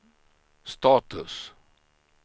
status